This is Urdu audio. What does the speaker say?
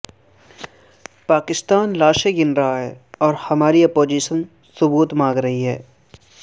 پاکستان لاشیں گن رہاہے اورہماری اپوزیشن ثبوت مانگ رہی ہے